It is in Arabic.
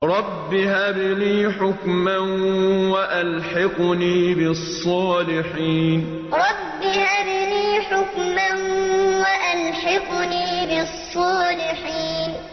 رَبِّ هَبْ لِي حُكْمًا وَأَلْحِقْنِي بِالصَّالِحِينَ رَبِّ هَبْ لِي حُكْمًا وَأَلْحِقْنِي بِالصَّالِحِينَ